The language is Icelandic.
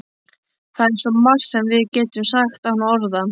Það er svo margt sem við getum sagt án orða.